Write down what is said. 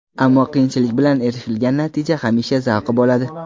Ammo qiyinchilik bilan erishilgan natija hamisha zavqli bo‘ladi.